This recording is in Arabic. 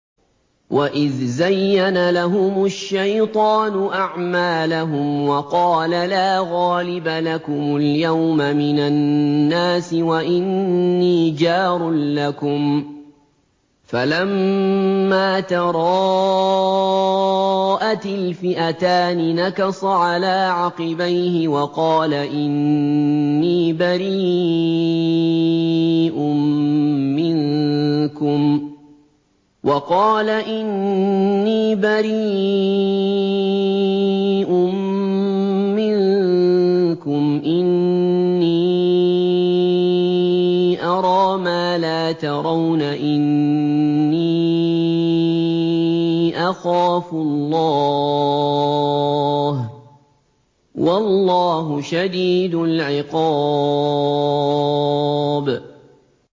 وَإِذْ زَيَّنَ لَهُمُ الشَّيْطَانُ أَعْمَالَهُمْ وَقَالَ لَا غَالِبَ لَكُمُ الْيَوْمَ مِنَ النَّاسِ وَإِنِّي جَارٌ لَّكُمْ ۖ فَلَمَّا تَرَاءَتِ الْفِئَتَانِ نَكَصَ عَلَىٰ عَقِبَيْهِ وَقَالَ إِنِّي بَرِيءٌ مِّنكُمْ إِنِّي أَرَىٰ مَا لَا تَرَوْنَ إِنِّي أَخَافُ اللَّهَ ۚ وَاللَّهُ شَدِيدُ الْعِقَابِ